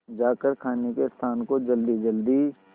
जाकर खाने के स्थान को जल्दीजल्दी